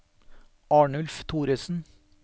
Arnulf Thoresen